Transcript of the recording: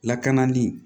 Lakanali